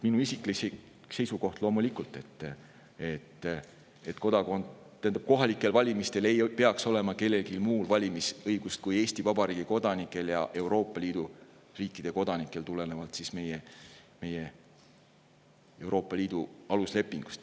Minu isiklik seisukoht on loomulikult, et kohalikel valimistel ei peaks olema valimisõigust kellelgi muul kui Eesti Vabariigi kodanikel ja tulenevalt Euroopa Liidu aluslepingust ka Euroopa Liidu riikide kodanikel.